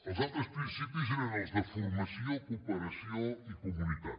els altres principis eren els de formació cooperació i comunitat